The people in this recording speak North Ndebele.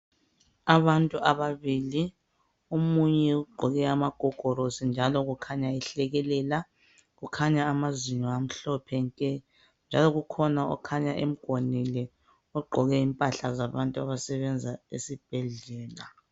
Abantu ababili. Omunye ugqoke amagogorosi njalo kukhanya ehlekelela. Kukhanya amazinyo amhlophe nke. Njalo kukhona okhanya emgonile. Ogqoke impahla zabantu abasebenza esibhedlela.